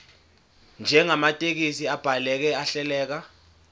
njengamathekisthi abhaleke ahleleka